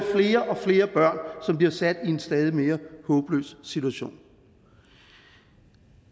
flere og flere børn som bliver sat i en stadig mere håbløs situation